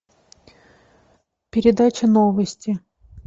передача новости